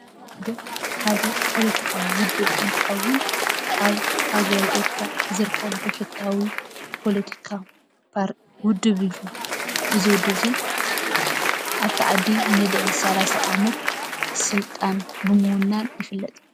ውድብ ሓደ ፖለቲካዊ ውድብ እንትከውን ኣብ ሃገረ ኤርትራ ዝርከብ ብሕታዊ ፖለቲካ ውድብ እዩ፡፡ እዚ ውድብ እዚ ኣብታ ዓዲ ንልዕሊ ሳላሳ ዓመት ስልጣን ብምውናን ይፍለጥ፡፡